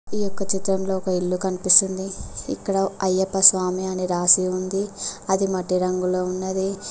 ఈ యొక్క చిత్రంలో ఒక ఇల్లు కనిపిస్తుంది ఇక్కడ అయ్యప్ప స్వామి అని రాసి ఉంది అది మట్టి రంగులో ఉన్నది.